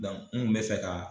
Dɔnku n kun be fɛ kaa